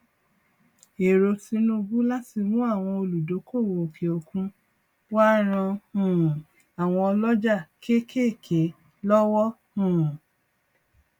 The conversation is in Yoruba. èrò tinubu láti mú àwọn olúdókòwò òkè òkun wá ran um àwọn oloja kéékèèké lọwọ um